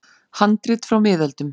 Handrit frá miðöldum.